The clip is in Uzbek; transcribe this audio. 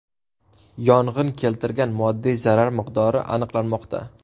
Yong‘in keltirgan moddiy zarar miqdori aniqlanmoqda.